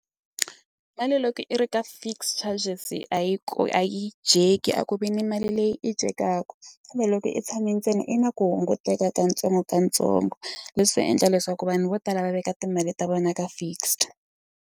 Mali loko i ri ka fixed charges a yi ko a yi dyeki a ku vi ni mali leyi i dyekaka kambe loko i tshame ntsena i na ku hunguteka katsongokatsongo leswi endla leswaku vanhu vo tala va veka timali ta vona ka fixed.